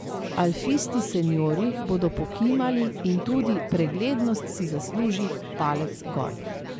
Alfisti seniorji bodo pokimali in tudi preglednost si zasluži palec gor.